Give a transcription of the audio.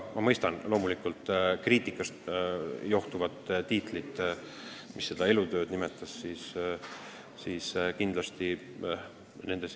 Ma mõistan loomulikult seda kriitikat, mida selle elutöö preemia andmine tähendab.